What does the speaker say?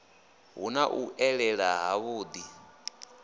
hu na u elela havhuḓi